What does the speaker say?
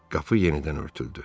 Qapı yenidən örtüldü.